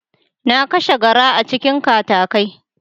Na kashe garra a cikin katakai.